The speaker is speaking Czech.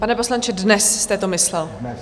Pane poslanče, dnes jste to myslel?